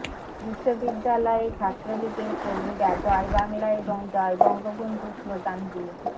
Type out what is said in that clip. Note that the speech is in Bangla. বিশ্ববিদ্যালয়ে ছাত্রলীগের কর্মীরা জয় বাংলা এবং জয় বঙ্গবন্ধু স্লোগান দিয়ে